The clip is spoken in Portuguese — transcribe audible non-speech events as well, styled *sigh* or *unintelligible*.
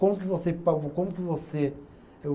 Como que você, *unintelligible* como que você é o